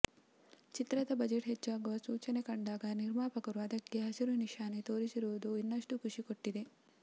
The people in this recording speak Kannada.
ಚಿತ್ರದ ಬಜೆಟ್ ಹೆಚ್ಚಾಗುವ ಸೂಚನೆ ಕಂಡಾಗ ನಿರ್ಮಾಪಕರು ಅದಕ್ಕೆ ಹಸಿರುನಿಶಾನೆ ತೋರಿಸಿರುವುದು ಇನ್ನಷ್ಟು ಖುಷಿ ಕೊಟ್ಟಿದೆ